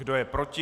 Kdo je proti?